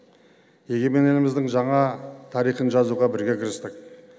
егемен еліміздің жаңа тарихын жазуға біре кірістік